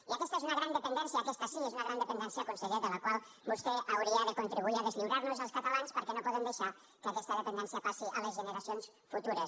i aquesta és una gran dependència aquesta sí que és una gran dependència conseller de la qual vostè hauria de contribuir a deslliurarnos als catalans perquè no podem deixar que aquesta dependència passi a les generacions futures